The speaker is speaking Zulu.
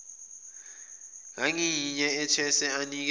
ngayinye ethethwe anikeze